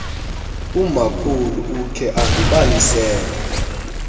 umakhulu ukhe andibalisele